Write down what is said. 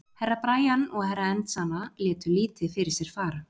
Herra Brian og Herra Enzana létu lítið fyrir sér fara.